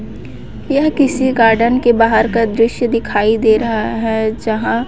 यह किसी गार्डन के बाहर का दृश्य दिखाई दे रहा है। जहां--